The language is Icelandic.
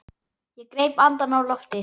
Ég greip andann á lofti.